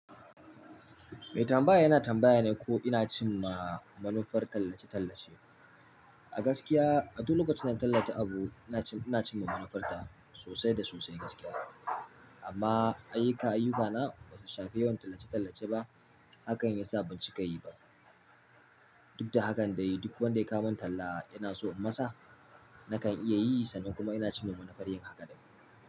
Mai tambaya yana tambaya ne ko ina cin ma manufar tallace-tallace. A gaskiya, a duk lokacin da na tallata abu, ina cin ma manufarta sosai da sosai gaskiya. Amma ayyuka-ayyuka na ba su shafi yawan tallace-tallace ba, hakan ya sa ban ci ka yi ba. Duk da hakan dai, duk wanda ya kawo min talla yana so inmasa, nakan iya yi sannan kuma ina cimma manufar yin haka ɗin.